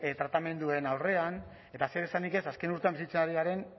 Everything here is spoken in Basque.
tratamenduen aurrean eta zeresanik ez azken urtean bizitzen ari garen